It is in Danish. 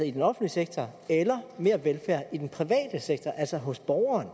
i den offentlige sektor eller mere velfærd i den private sektor altså hos borgeren